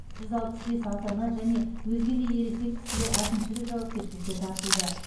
жүз алпыс бес ата ана және өзге де ересек кісілер әкімшілік жауапкершілікке тартылды